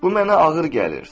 Bu mənə ağır gəlir.